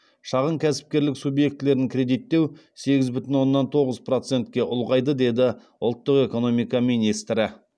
шағын кәсіпкерлік субъектілерін кредиттеу сегіз бүтін оннан тоғыз процетке ұлғайды деді ұлттық экономика министрі